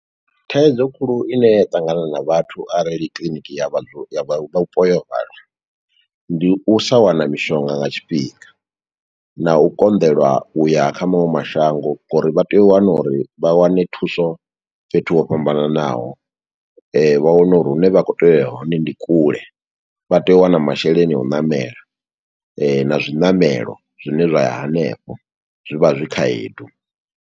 Thaidzo khulu ine ya ṱangana na vhathu arali kiḽiniki ya vha, ya vhupo yo vala, ndi u sa wana mishonga nga tshifhinga, na u konḓelwa uya kha maṅwe mashango ngo uri vha tea u wana uri vha wane thuso, fhethu ho fhambananaho. Vha wane uri hune vha khou tea uya hone ndi kule, vha tea u wana masheleni a u ṋamela, na zwiṋamelo zwine zwa ya hanefho. Zwi vha zwi khaedu.